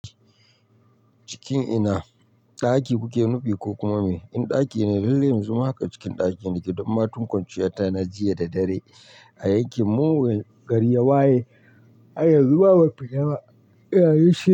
Cikin ina? Ɗaki kuke nufi ko kuma me? In ɗaki ne lallai yanxu ma haka cikin ɗaki nake don ma tun kwanciyata na jiya da dare a yanke mun gari ya waye, har yanzu ma ban fita ba iya yen shi.